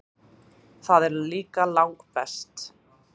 Það er líka langbest.